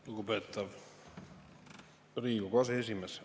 Lugupeetav Riigikogu aseesimees!